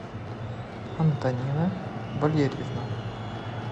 антонина валерьевна